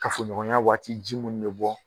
Kafoɲɔgɔnya waati ji mun be bɔ